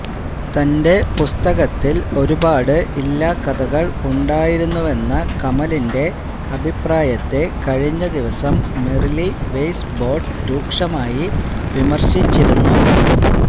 തന്റെ പുസ്തകത്തില് ഒരുപാട് ഇല്ലാക്കഥകള് ഉണ്ടായിരുന്നുവെന്ന കമലിന്റെ അഭിപ്രായത്തെ കഴിഞ്ഞ ദിവസം മെറിലി വെയ്സ്ബോര്ഡ് രൂക്ഷമായി വിമര്ശിച്ചിരുന്നു